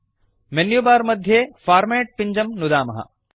menu bar मध्ये format पिञ्जं नुदामः